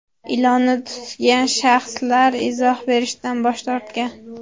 Ilonni tutgan shaxslar izoh berishdan bosh tortgan.